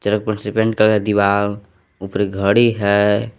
Paint करा दीवार ऊपर घड़ी है।